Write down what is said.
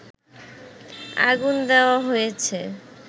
আগুন দেয়া হয়েছে